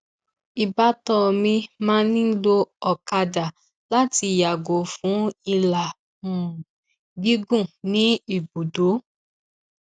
ìbátan mi máa ń lo ọkàdà láti yàgò fún ìlà um gígùn ní ibùdó